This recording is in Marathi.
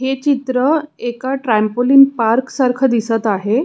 हे चित्र एका ट्रामपोलिन पार्क सारख दिसत आहे.